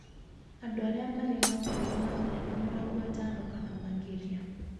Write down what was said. andũ arĩa marĩ na ũkũrũ wa mĩaka mĩrongo ĩtano kana makĩria